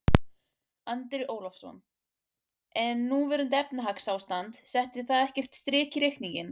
Andri Ólafsson: En núverandi efnahagsástand, setti það ekkert strik í reikninginn?